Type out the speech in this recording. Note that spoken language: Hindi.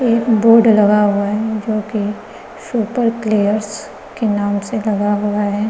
एक बोर्ड लगा हुआ है जो कि सुपर क्लेयर्स के नाम से लगा हुआ है।